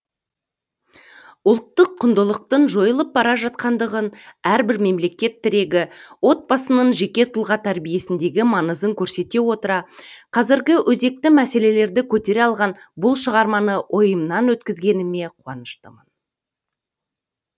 ұлттық құндылықтың жойылып бара жатқандығын әрбір мемлекет тірегі отбасының жеке тұлға тәрбиесіндегі маңызын көрсете отыра қазіргі өзекті мәселелрді көтере алған бұл шығарманы ойымнан өткізгеніме қуаныштымын